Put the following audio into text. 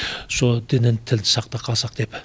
сол дінін тілін сақтақалсақ деп